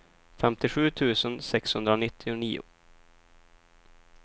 femtiosju tusen sexhundranittionio